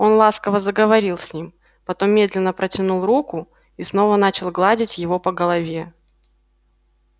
он ласково заговорил с ним потом медленно протянул руку и снова начал гладить его по голове